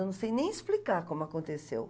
Eu não sei nem explicar como aconteceu.